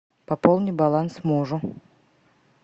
пополни баланс мужу